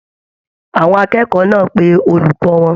Àwọn akẹ́kọ̀ọ́ náà pé olùkọ wọn.